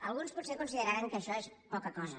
alguns potser consideraran que això és poca cosa